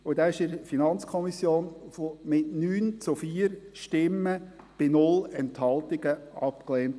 Dieser wurde in der FiKo mit 9 zu 4 Stimmen bei 0 Enthaltungen abgelehnt.